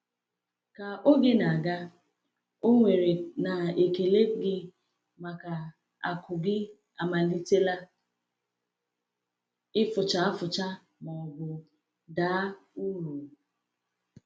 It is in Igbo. Ka oge na-aga, ọ̀ nwere na ekele gị maka akụ gị amalitela ịfụcha ịfụcha ma ọ bụ daa uru?